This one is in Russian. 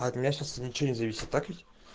от меня сейчас ничего не зависит так ведь